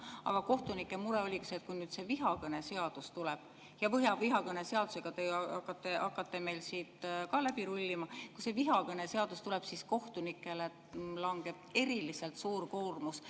Aga kohtunike mure oligi see, et kui nüüd see vihakõneseadus tuleb – ja vihakõneseadusega te ju hakkate meil ka siit läbi rullima –, siis kohtunikele langeb eriliselt suur koormus.